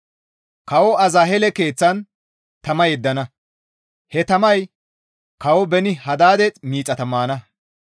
Kawo Azaheele keeththan tama yeddana; he tamay Kawo Beeni-Hadaade miixata maana.